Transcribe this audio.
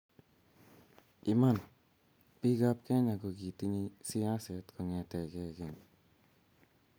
Iman, bikap Kenya kogitinyei siaset kongete keny